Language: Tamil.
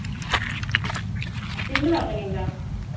single ஆ பண்ணீங்களா